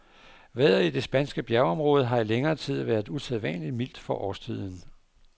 Vejret i det spanske bjergområde har i længere tid været usædvanligt mildt for årstiden.